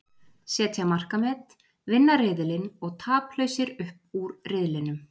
Setja markamet, vinna riðilinn og taplausir upp úr riðlinum.